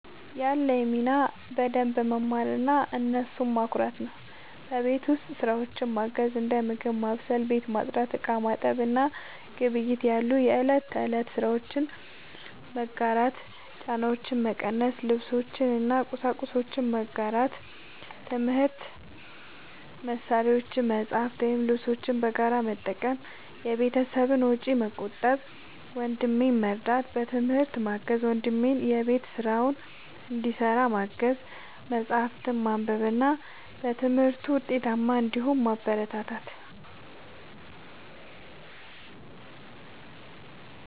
ያለኝ ሚና በደንብ መማርና እነሱን ማኩራት ነው። የቤት ውስጥ ስራዎችን ማገዝ፦ እንደ ምግብ ማብሰል፣ ቤት ማጽዳት፣ ዕቃ ማጠብ እና ግብይት ያሉ የእለት ተእለት ስራዎችን በመጋራት ጫናቸውን መቀነስ። ልብሶችን እና ቁሳቁሶችን መጋራት፦ የትምህርት መሳሪያዎችን፣ መጽሐፍትን ወይም ልብሶችን በጋራ በመጠቀም የቤተሰብን ወጪ መቆጠብ። ወንድሜን መርዳት፦ በትምህርት ማገዝ፦ ወንድሜን የቤት ስራውን እንዲሰራ ማገዝ፣ መጽሐፍትን ማንበብ እና በትምህርቱ ውጤታማ እንዲሆን ማበረታታት።